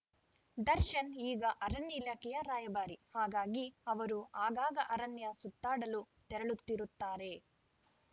ದರ್ಶನ್‌ ಈಗ ಅರಣ್ಯ ಇಲಾಖೆಯ ರಾಯಭಾರಿ ಹಾಗಾಗಿ ಅವರು ಆಗಾಗ ಅರಣ್ಯ ಸುತ್ತಾಡಲು ತೆರಳುತ್ತಿರುತ್ತಾರೆ